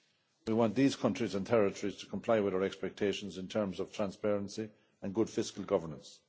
We want these countries and territories to comply with our expectations in terms of transparency and good fiscal governance.